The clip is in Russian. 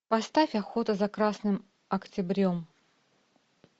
поставь охота за красным октябрем